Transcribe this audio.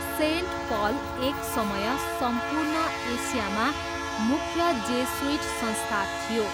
Saint Paul एक समय सम्पूर्ण एसियामा मुख्य जेसुइट संस्था थियो।